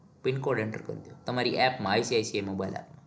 PINcode enter કરીદો. તમારી app માં ICICmobile app